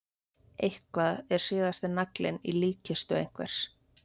Eitthvað er síðasti naglinn í líkkistu einhvers